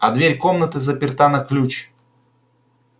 а дверь комнаты заперта на ключ